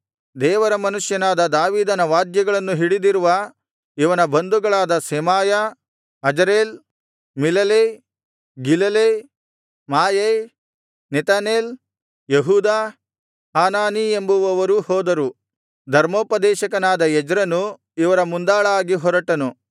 ದೇವರ ಮನುಷ್ಯನಾದ ದಾವೀದನ ವಾದ್ಯಗಳನ್ನು ಹಿಡಿದಿರುವ ಇವನ ಬಂಧುಗಳಾದ Shemaiah Azarel Milalai Gilalai Maai Nethanel ಯೆಹೂದ ಹಾನಾನೀ ಎಂಬುವರೂ ಹೋದರು ಧರ್ಮೋಪದೇಶಕನಾದ ಎಜ್ರನು ಇವರ ಮುಂದಾಳಾಗಿ ಹೊರಟನು